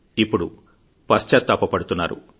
ఇప్పుడు పశ్చాతాప పడుతున్నారు